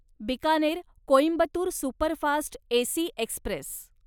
Bikaner Coimbatore superfast AC Express